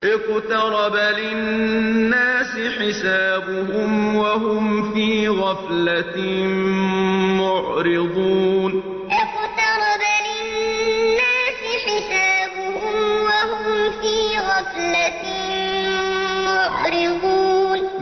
اقْتَرَبَ لِلنَّاسِ حِسَابُهُمْ وَهُمْ فِي غَفْلَةٍ مُّعْرِضُونَ اقْتَرَبَ لِلنَّاسِ حِسَابُهُمْ وَهُمْ فِي غَفْلَةٍ مُّعْرِضُونَ